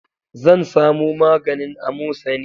Zan samo maganin amosani